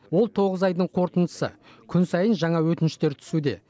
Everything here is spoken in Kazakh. ол тоғыз айдың қортындысы күн сайын жаңа өтініштер түсуде